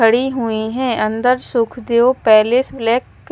खड़ी हुईं हैं अंदर सुखदेव पैलेस ब्लैक --